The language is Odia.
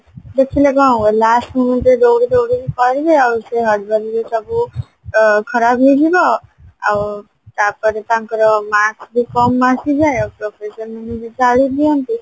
ଦେଖିଲେ କଣ ହବ last moment ରେ ଦଉଡି ଦଉଡିକି କରିବେ ଆଉ ସେ exam ବି ସବୁ ଅ ଖରାପ ହେଇଯିବ ଆଉ ତାପରେ ତାଙ୍କର marks କି କମ ଆସିଯାଏ professor ମାନେ ବି ଗାଳି ଦିଅନ୍ତି